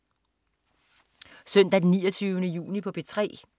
Søndag den 29. juni - P3: